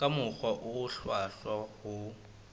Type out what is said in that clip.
ka mokgwa o hlwahlwa ho